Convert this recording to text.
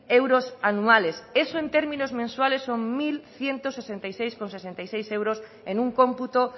euros anuales eso en términos mensuales son mil ciento sesenta y seis coma sesenta y seis euros en un cómputo